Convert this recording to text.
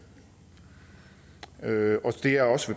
vil